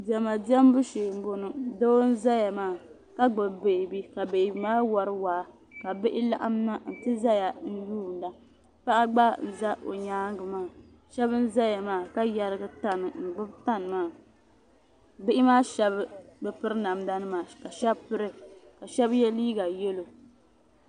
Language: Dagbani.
Diɛma diɛmbu shee m boŋɔ doo n zaya maa ka gbibi beebi ka beebi maa wari waa ka bihi laɣim na n ti zaya n yuuna paɣa gba za o nyaanga maa sheba n zaya maa ka yerigi tani n gbibi tani maa bihi maa sheba bi piri namda nima ka sheba piri ka sheba ye liiga yelo.